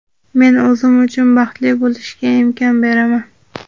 Men o‘zim uchun baxtli bo‘lishga imkon beraman!.